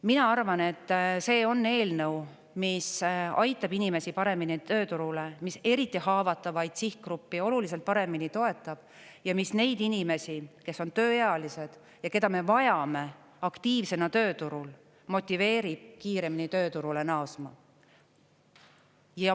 Mina arvan, et see on eelnõu, mis aitab inimesi paremini tööturule, mis eriti haavatavaid sihtgruppe oluliselt paremini toetab ja mis neid inimesi, kes on tööealised ja keda me vajame aktiivsena tööturul, motiveerib kiiremini tööturule naasma.